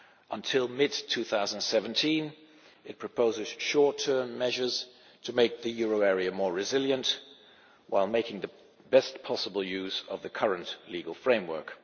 Until mid 2017 it proposes short term measures to make the euro area more resilient, while making the best possible use of the current legal framework.